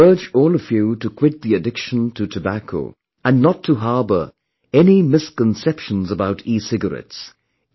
I urge all of you to quit the addiction to tobacco and do not harbour any misconceptions about ecigarettes